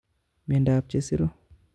Miondab chesiru